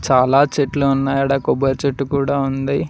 చాలా చెట్లు ఉన్నాయ్ ఆడ కొబ్బరి చెట్టు కూడా ఉంది.